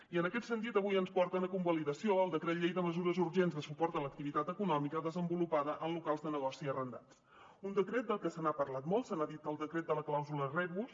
i en aquest sentit avui ens porten a convalidació el decret llei de mesures urgents de suport a l’activitat econòmica desenvolupada en locals de negoci arrendats un decret del que se n’ha parlat molt se n’ha dit el decret de la clàusula rebus